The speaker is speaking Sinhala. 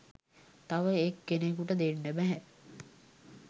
තව එක් කෙනෙකුට දෙන්න බැහැ.